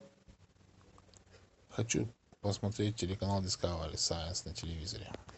хочу посмотреть телеканал дискавери сайнс на телевизоре